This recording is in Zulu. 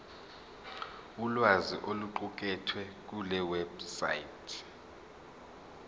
ulwazi oluqukethwe kulewebsite